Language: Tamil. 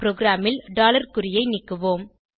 ப்ரோகிராமில் குறியை நீக்குவோம்